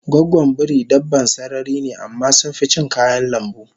Goggon biri dabban sarari ne amma sunficin kayan lambu